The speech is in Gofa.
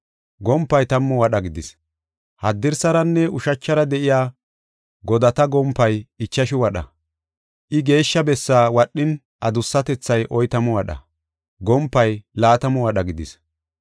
Gompay tammu wadha gidis. Haddirsaranne ushachara de7iya godata gompay ichashu wadha. I Geeshsha Bessaa wadhin adussatethay oytamu wadha, gompay laatamu wadha gidis.